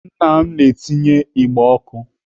Nna m na-etinye igbe ọkụ.